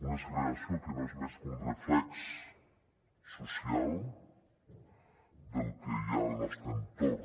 una segregació que no és més que un reflex social del que hi ha al nostre entorn